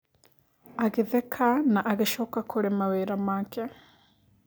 Agĩtheka na agĩcoka kurĩ mawĩra make.